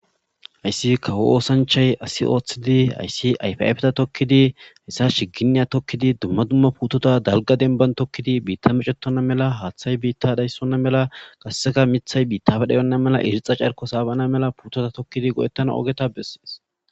ayssi kawo oosanchay asi ooththidi ayssi ayfiafeta tokkidihayssa shiginiya tokkidi dumma dumma puutota dalga denban tokkidi biitta mecetona mela haaththay biitta dhayssonna mela gasseka mithay biittafe dhayonna mela irixa carko saabanna mela puutota tokkidi godettana ogeta bessees